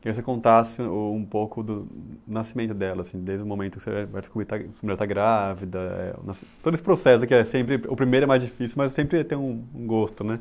Queria que você contasse o um pouco do nascimento delas, assim desde o momento, você vai descobrir está grá, se a mulher está grávida, eh o nasci. Todo esse processo que é sempre, o primeiro é mais difícil, mas sempre tem um gosto, né?